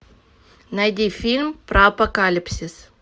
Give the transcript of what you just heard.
найди фильм про апокалипсис